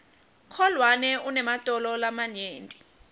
kholwane unematolo lamanyenti